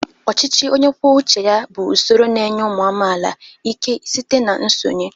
Ọchịchị onye kwuo uche ya bụ usoro na-enye ụmụ amaala ike site na nsonye.